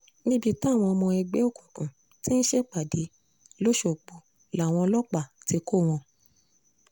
níbi táwọn ọmọ ẹgbẹ́ òkùnkùn tí ń ṣèpàdé lọ́sọ̀gbọ̀ làwọn ọlọ́pàá ti kọ́ wọn